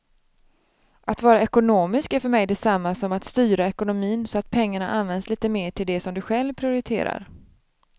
Att vara ekonomisk är för mig detsamma som att styra ekonomin så att pengarna används lite mer till det som du själv prioriterar.